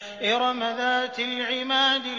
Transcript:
إِرَمَ ذَاتِ الْعِمَادِ